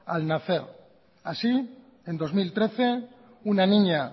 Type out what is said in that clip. al nacer así en dos mil trece una niña